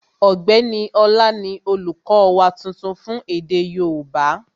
Ọ̀gbẹ́ni Ọlá ni olùkọ́ wa tuntun fún èdè yóòbá